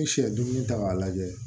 N'i sɛ duuru ta k'a lajɛ